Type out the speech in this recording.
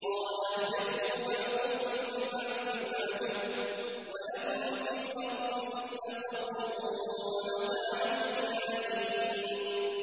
قَالَ اهْبِطُوا بَعْضُكُمْ لِبَعْضٍ عَدُوٌّ ۖ وَلَكُمْ فِي الْأَرْضِ مُسْتَقَرٌّ وَمَتَاعٌ إِلَىٰ حِينٍ